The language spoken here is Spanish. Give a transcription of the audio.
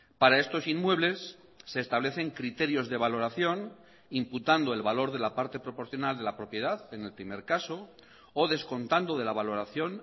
para estos inmuebles se establecen criterios de valoración imputando el valor de la parte proporcional de la propiedad en el primer caso o descontando de la valoración